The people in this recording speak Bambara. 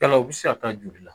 Yala u bɛ se ka taa joli la